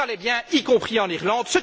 Tout allait bien, y compris en Irlande.